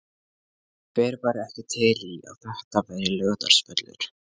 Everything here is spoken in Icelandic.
Hver væri ekki til í að þetta væri Laugardalsvöllur?